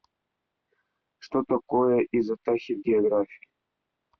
что такое изотахи в географии